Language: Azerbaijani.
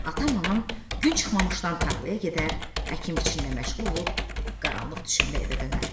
Atam anam gün çıxmamışdan tarlaya gedər, əkin-biçinlə məşğul olub qaranlıq düşəndə evə dönərdilər.